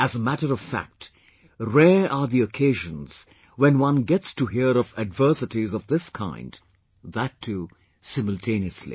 As a matter of fact, rare are the occasions when one gets to hear of adversities of this kind that too simultaneously